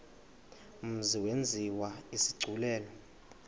mzi yenziwe isigculelo